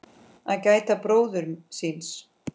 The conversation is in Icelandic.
Að gæta bróður síns